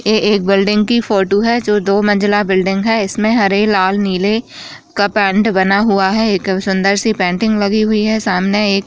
ये एक बिल्डिंग कि फोटू है जो दो मंज़िला बिल्डिंग है इसमें हरे लाल नीले का पेंट बना हुआ है एक सुंदर सी पेंटिंग लगी हुई है सामने एक --